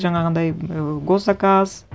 жаңағындай і гос заказ